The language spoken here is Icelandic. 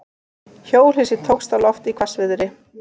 Hjólhýsi tókst á loft í hvassviðri